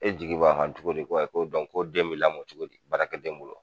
E jigi b'a kan cogo di ko ko den bi lamɔ cogo di baarakɛden bolo ?